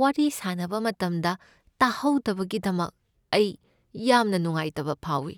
ꯋꯥꯔꯤ ꯁꯥꯅꯕ ꯃꯇꯝꯗ ꯇꯥꯍꯧꯗꯕꯒꯤꯗꯃꯛ ꯑꯩ ꯌꯥꯝꯅ ꯅꯨꯉꯉꯥꯏꯇꯕ ꯐꯥꯎꯏ꯫